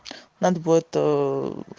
надо будет